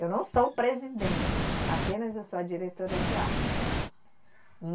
Eu não sou presidente, apenas eu sou a diretora de arte.